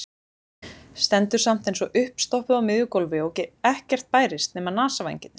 Stendur samt eins og uppstoppuð á miðju gólfi og ekkert bærist nema nasavængirnir.